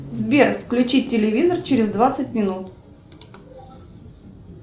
сбер включи телевизор через двадцать минут